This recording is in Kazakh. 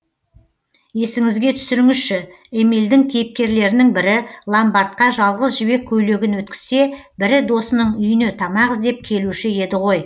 есіңізге түсіріңізші эмильдің кейіпкерлерінің бірі ломбардқа жалғыз жібек көйлегін өткізсе бірі досының үйіне тамақ іздеп келуші еді ғой